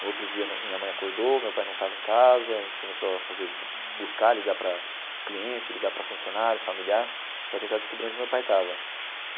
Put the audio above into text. No outro dia, minha mãe acordou, meu pai não estava em casa, a gente começou a fazer buscar, ligar para cliente, ligar para funcionário, familiar, para tentar descobrir onde meu pai estava.